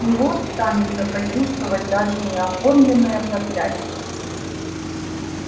с него станется почувствовать даже неоформленное проклятие